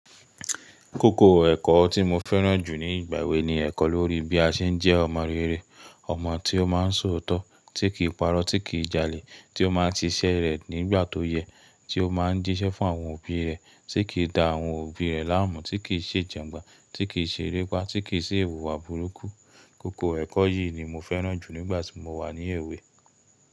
Kókó ẹ̀kọ́ tí mo fẹ́ràn jù ní ìgbà èwe ni ẹ̀kọ́ lórí bí a ṣe ń jẹ́ ọmọ rere, ọmọ tí ó máa ń sọ ootọ̀, tí kì í parọ́, tí kì í jalè, tí ó máa ń ti siṣẹ́ rẹ̀ nígbà tó yẹ, tí ó máa ń jíṣẹ́ fún àwọn òbí rẹ̀, tí kì í da àwọn òbí rẹ̀ láàmú, tí kì í ṣe jangbọn, tí kì í ṣe erépá, tí kì í ṣe iwùwà búrúkú. Kókó ẹ̀kọ́ yìí ni mo fẹ́ràn jù nígbà tí mo wà ní èwe.